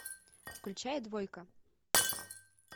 включай двойка